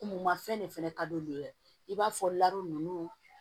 M mafɛn de fɛnɛ ka di olu ye i b'a fɔ nunnu